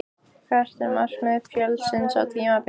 Hvert er markmið Fjölnis á tímabilinu?